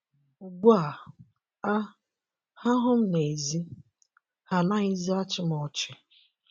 Ugbu a, a, ha hụ m n’ezi, ha anaghịzi achị m ọchị! ”